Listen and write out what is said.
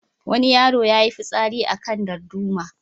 Wani yaro ya yi fitsari a kan darduma.